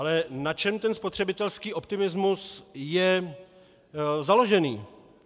Ale na čem ten spotřebitelský optimismus je založený?